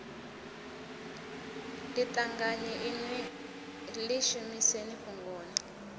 ḽiṱanganyi inwi ḽi shumiseni fhungoni